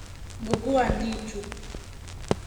Mbugua Ndichu.